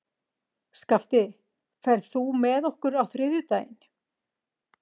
Skafti, ferð þú með okkur á þriðjudaginn?